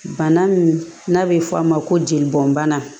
Bana min n'a bɛ fɔ a ma ko jeli bɔn bana